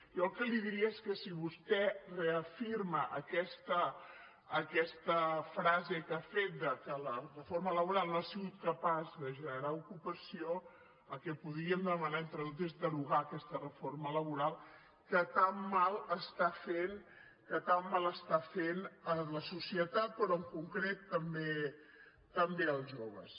jo el que li diria és que si vostè reafirma aquesta frase que ha fet que la reforma laboral no ha sigut capaç de generar ocupació el que podríem demanar entre tots és derogar aquesta reforma laboral que tant mal està fent a la societat però en concret també als joves